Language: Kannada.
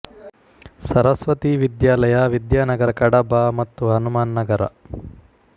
ಸರಸ್ವತಿ ವಿದ್ಯಾಲಯ ವಿದ್ಯಾ ನಗರ ಕಡಬ ಮತ್ತು ಹನುಮಾನ್ ನಗರ